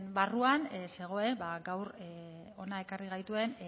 barruan zegoen gaur hona ekarri gaituen